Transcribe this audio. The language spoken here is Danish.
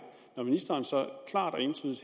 når ministeren så klart og entydigt